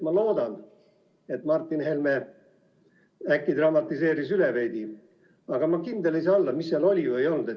Ma loodan, et Martin Helme dramatiseeris veidi üle, aga kindel ei saa olla, mis seal oli või ei olnud.